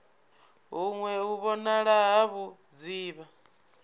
huṅwe u vhonala ha vhudzivha